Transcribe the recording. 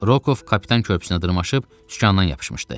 Rokov kapitan körpüsünə dırmaşıb sükanına yapışmışdı.